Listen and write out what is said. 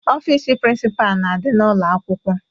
Ọfiisi prịnsịpaa na-adị n'ụlọ akwụkwọ,